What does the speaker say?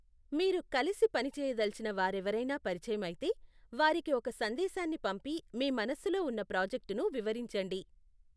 మీరు కలిసి పనిచేయదలచిన వారెవరైనా పరిచయమైతే, వారికి ఒక సందేశాన్ని పంపి మీ మనస్సులో ఉన్న ప్రాజెక్టును వివరించండి.